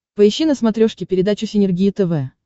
поищи на смотрешке передачу синергия тв